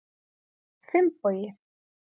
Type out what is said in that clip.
Finnbogi